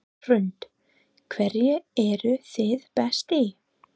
Hrund: Hverju eruð þið best í?